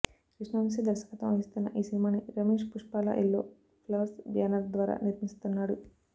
కృష్ణవంశీ దర్శకత్వం వహిస్తున్న ఈ సినిమాని Ramesh Puppala Yellow Flowers banner ద్వారా నిర్మిస్తున్నాడు